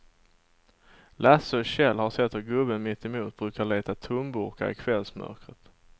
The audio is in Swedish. Lasse och Kjell har sett hur gubben mittemot brukar leta tomburkar i kvällsmörkret.